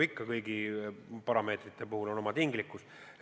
Kõigile parameetritele on omane tinglikkus.